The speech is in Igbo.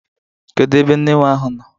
Kedu ebe nne nwa ahụ nọ?